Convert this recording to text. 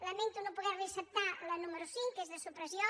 lamento no poder li acceptar la número cinc que és de supressió